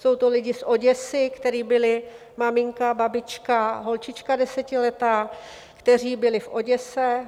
Jsou to lidé z Oděsy, kteří byli - maminka, babička, holčička desetiletá - kteří byli v Oděse.